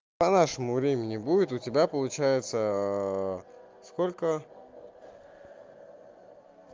по нашему времени будет у тебя получается сколько